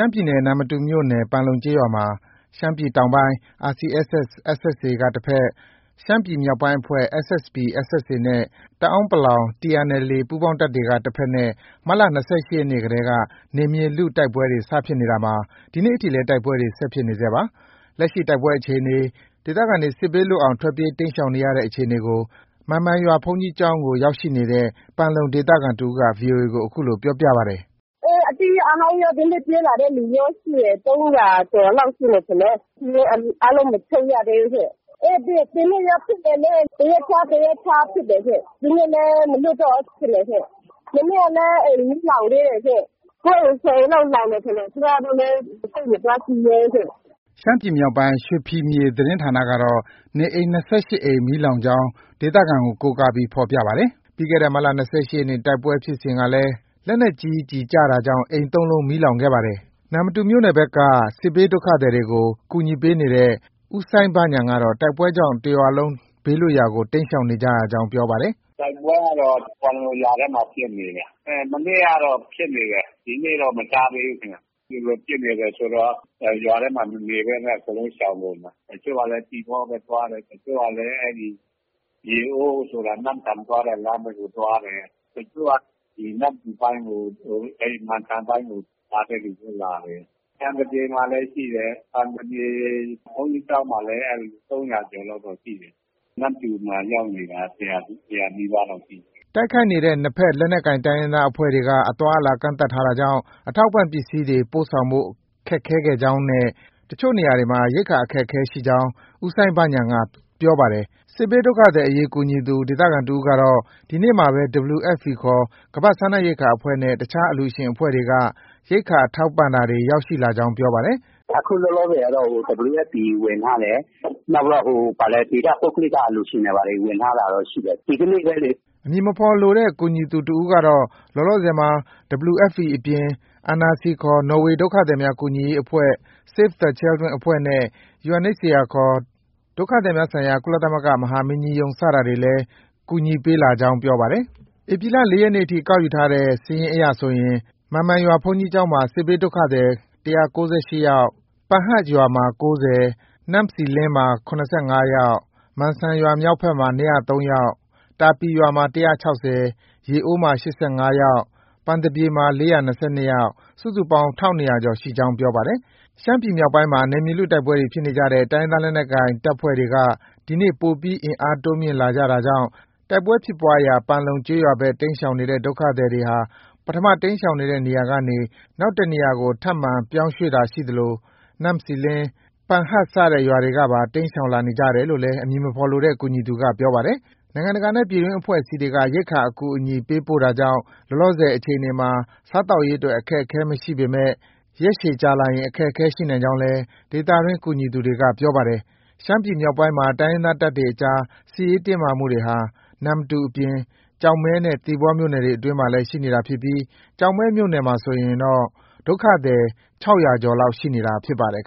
ှမ်းပြည်နယ်၊ နမ္မတူမြို့နယ် ပန်လုံကျေးရွာမှာ ရှမ်းပြည်တောင်ပိုင်း RCSS/SSA က တဘက်၊ ရှမ်းပြည်မြောက်ပိုင်းအဖွဲ့ SSPP/SSA နဲ့ တအန်း TNLA ပူးပေါင်းတပ်တွေက တဘက်နဲ့ မတ်လ ၂၈ ရက်နေ့တည်းက နယ်မြေလု တိုက်ပွဲတွေ စဖြစ်နေတာမှာ ဒီနေ့အထိလည်း တိုက်ပွဲတွေ ဆက်လက်ဖြစ်နေဆဲပါ။ လက်ရှိ တိုက်ပွဲအခြေအနေ၊ ဒေသခံတွေ စစ်ဘေးလွတ်အောင် ထွက်ပြေး တိမ်းရှောင်နေရတဲ့ အခြေအနေကို မန်မိုင်ရွာ ဘုန်းကြီးကျောင်းကို ရောက်ရှိနေတဲ့ ပန်လုံဒေသခံတစ်ဦးက ဗွီအိုအေကို အခုလို ပြောပါတယ်။ “အေး အသစ်ရော၊ အဟောင်းရော၊ ဒီနေ့ ပြေးလာတဲ့သူရောရှိရင် ၃၀၀ ကျော်လောက်ရှိမယ်ထင်တယ်။ စာရင်းအားလုံး မချုပ်ရသေးဘူးရှင့်။ အေး ဒီနေ့လည်း ဖြစ်တယ်လေ။ တစ်ရက်ခြား တစ်ရက်ခြားဖြစ်တယ်ရှင့်။ ဒီနေ့လည်း မနက်ကပဲဖြစ်တယ်ရှင်။ မနေ့ကလည်း အိမ်မီးလောင်သေးတယ်ရှင်။ ၉ အိမ်၊ ၁၀ အိမ်လောက် လောင်တယ်။ ကျမတို့လည်း သိပ် မသွားကြည့်ရဲဘူးရှင့်။” ရှမ်းမြောက်အခြေစိုက် ရွှေဖီမြေ သတင်းဌာနကတော့ အိမ် ၂၈ လုံးလောက် မီးလောင်ကြောင်း ဒေသခံကို ကိုးကားပြီး ဖော်ပြပါတယ်။ ပြီးခဲ့တဲ့ မတ်လ ၂၈ ရက်နေ့ တိုက်ပွဲဖြစ်ပွားစဉ်ကလည်း လက်နက်ကြီး ကျည်ကျတာကြောင့် အိမ် ၃ လုံး မီးလောင်ခဲ့ရပါတယ်။ နမ္မတူမြို့နယ်ဘက်က စစ်ဘေးဒုက္ခသည်တွေကို ကူညီပေးနေတဲ့ ဦးစိုင်းဘဉာဏ်ကတော့ တိုက်ပွဲကြောင့် တစ်ရွာလုံး ဘေးလွတ်ရာကို တိမ်းရှောင်နေကြရကြောင်း ပြောပါတယ်။ “တိုက်ပွဲကတော့ ပန်လုံရွာထဲမှာ ဖြစ်နေတယ်။ မနေ့ကတော့ဖြစ်နေတယ်။ ဒီနေ့ကတော့ မကြားသေးဘူးခင်ဗျ။ ဒီလိုဖြစ်နေတယ်ဆိုတော့ ရွာထဲမှာ လူမနေဘဲနဲ့ တစ်ရွာလုံးရှောင်ကုန်တာ။ တချို့ကလည်း သီပေါဘက်သွားတယ်။ တချို့ကလည်း ရေအိုးဆိုတာ နမ့်ဆန်သွားတဲ့ လမ်းဘက်ကိုသွားတယ်။ တချို့က နမ္မတူပိုင်းကို မန်စံပိုင်းကို လာတဲ့သူလည်း လာတယ်။ ပန်သပြေမှာလည်း ရှိတယ်။ ပန်သပြေ ဘုန်းကြီးကျောင်းမှာ ၃၀၀ ကျော်လောက်တော့ရှိတယ်။ နမ္မတူမှာ ရောက်နေတာ ၁၀၀ နီးပါးလောက်ရှိတယ်။ ” တိုက်ခိုက်နေတဲ့ နှစ်ဘက် လက်နက်ကိုင်တိုင်းရင်းသားအဖွဲ့တွေက အသွားအလာ ကန့်သတ်ထားတာကြောင့် အထောက်အပံ့ပစ္စည်းတွေ ပို့ဆောင်ဖို့ ခက်ခဲခဲ့ကြောင်းနဲ့ တချို့နေရာတွေမှာ ရိက္ခာအခက်အခဲ ရှိခဲ့ကြောင်း ဦးစိုင်းဘဉာဏ်က ပြောပါတယ်။ စစ်ဘေးဒုက္ခသည်အရေး ကူညီသူ ဒေသခံတစ်ဦးကတော့ ဒီကနေ့မှာပဲ WFP ခေါ် ကမ္ဘာစားနပ်ရိက္ခာအဖွဲ့နဲ့ အခြားအလှုရှင်အဖွဲ့တွေက ရိက္ခာထောက်ပံ့တာတွေ ရောက်ရှိလာကြောင်း ပြောပါတယ်။ “အခုလောလောဆယ်ကတော့ WFP ဝင်ထားတယ်။ နောက်ပြီးတော့ ဒေသ ပုဂ္ဂလိက အလှုရှင်တွေ ဝင်ထားတာတော့ ရှိတယ်။ ဒီကနေ့ပဲလေ။” အမည်မဖော်လိုတဲ့ ကူညီသူ တစ်ဦးကတော့ လောလောဆယ်မှာ WFP အပြင် NRC ခေါ် နော်ေ၀ ဒုက္ခသည်များ ကူညီရေး အဖွဲ့၊ Save the Children အဖွဲ့ နဲ့ UNHCR ခေါ် ကုလသမဂ္ဂ ဒုက္ခသည်များဆိုင်ရာ မဟာမင်းကြီးရုံး စတာတွေလည်း ကူညီပေးလာကြောင်း ပြောပါတယ်။ ဧပြီလ ၄ ရက်နေ့အထိ ကောက်ယူထားတဲ့ စာရင်း အရဆိုရင် မန်မိုင်ရွာဘုန်းကြီးကျောင်းမှာ စစ်ဘေးဒုက္ခသည် ၁၉၈ ယောက်၊ ပန်ဟတ်ရွာမှာ ၉၀၊ နမ့်ဆီလင်းမှာ ၇၅ ယောက်၊ မန်စံရွာမြောက်ကျောင်းမှာ ၂၀၃ ယောက်၊ တာပီရွာမှာ ၁၆၀၊ ရေအိုးမှာ ၈၅၊ ပန်သပြေ ၄၂၂ ယောက် စုစုပေါင်း ၁,၂၀၀ ကျော်ရှိကြောင်း ပြောပါတယ်။ ရှမ်းပြည်မြောက်ပိုင်းမှာ နယ်မြေလု တိုက်ပွဲဖြစ်နေကြတဲ့ တိုင်းရင်းသား လက်နက်ကိုင် တပ်တွေက ဒီနေ့ ပိုပြီး အင်အားတိုးမြှင့်လာတာကြောင့် တိုက်ပွဲဖြစ်ပွားရာ ပန်လုံကျေးရွာဘက် တိမ်းရှောင်နေတဲ့ စစ်ဘေးဒုက္ခသည်တွေဟာ ပထမ တိမ်းရှောင်နေတဲ့ နေရာကနေ နောက် တစ်နေရာကို ထပ်မံပြောင်းရွှေ့တာ ရှိသလို နမ့်ဆီလင်း၊ ပန်ဟတ်စတဲ့ ရွာတွေကပါ တိမ်းရှောင်လာနေတယ်လို့ အမည်မဖော်လိုတဲ့ ကူညီသူက ပြောပါတယ်။ နိုင်ငံတကာနဲ့ ပြည်တွင်း အဖွဲ့အစည်းတွေက ရိက္ခာအကူအညီ ပေးပို့ထားတာကြောင့် လောလောဆယ်အခြေအနေမှာ စားသောက်ရေးအတွက် အခက်အခဲမရှိနိုင်ပေမဲ့ ရက်ရှည်ကြာလာရင် အခက်အခဲရှိနိုင်ကြောင်းလည်း ဒေသတွင်း ကူညီသူတွေက ပြောပါတယ်။ ရှမ်းပြည်နယ် မြောက်ပိုင်းမှာ တိုင်းရင်းသားတပ်တွေအကြား စစ်ရေးတင်းမာမှုတွေဟာ နမ္မတူအပြင် ကျောက်မဲနဲ့ သီပေါမြို့နယ်တွေအတွင်းမှာလည်း ရှိနေတာဖြစ်ပြီး ကျောက်မဲမြို့နယ်မှာဆိုရင်တော့ စစ်ဘေးဒုက္ခသည် ၆၀၀ ကျော်လောက် ရှိနေတာဖြစ်ပါတယ်။